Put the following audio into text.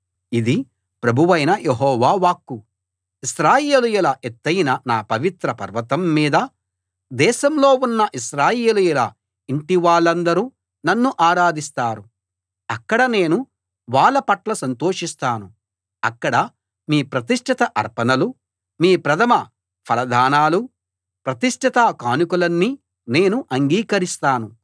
ఇది ప్రభువైన యెహోవా వాక్కు ఇశ్రాయేలీయుల ఎత్తయిన నా పవిత్ర పర్వతం మీద దేశంలో ఉన్న ఇశ్రాయేలీయుల ఇంటి వాళ్ళందరూ నన్ను ఆరాధిస్తారు అక్కడ నేను వాళ్ళ పట్ల సంతోషిస్తాను అక్కడ మీ ప్రతిష్ఠిత అర్పణలు మీ ప్రథమ ఫలదానాలూ ప్రతిష్ఠిత కానుకలన్నీ నేను అంగీకరిస్తాను